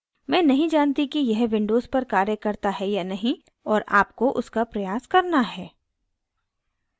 मैं नहीं जानती कि यह windows पर कार्य करता है या नहीं और आपको उसका प्रयास करना है